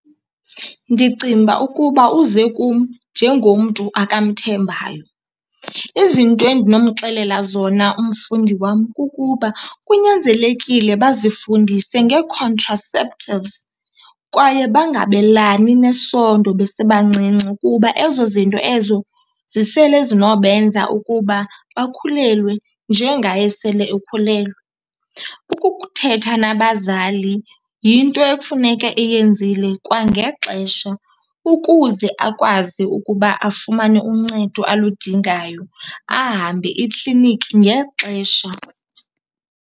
Ndicinga ukuba uze kum njengomntu akamthembayo. Izinto endinomxelela zona umfundi wam kukuba kunyanzelekile bazifundise ngee-contraceptives kwaye bangabelani nesondo besebancinci kuba ezo zinto ezo zisele zinobenza ukuba bakhulelwe njengaye sele ekhulelwe. Ukuthetha nabazali yinto ekufuneke eyenzile kwangexesha ukuze akwazi ukuba afumane uncedo aludingayo, ahambe ikliniki ngexesha.